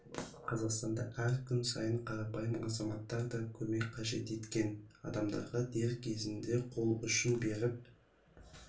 қазақстанда әр күн сайын қарапайым азаматтар да көмек қажет еткен адамдарға дер кезінде қол ұшын беріп